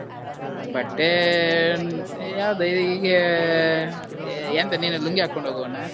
ಬಟ್ಟೆ, ಯಾವ್ದ ಹೀಗೆ, ಎಂತ ನಿನ್ನದು ಲುಂಗಿ ಹಾಕೊಂಡ್ ಹೋಗುವನಾ?